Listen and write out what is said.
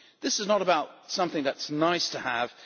This is not about something that is nice to have'